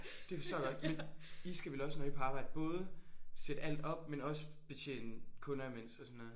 Det forstår jeg godt men I skal vel også når I er på arbejde både sætte alt op men også betjene kunder imens og sådan noget